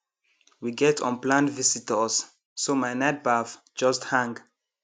we get unplanned visitors so my night baff just hang